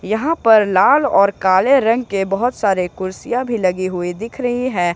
यहां पर लाल और काले रंग के बहुत सारे कुर्सियां भी लगी हुई दिख रही है।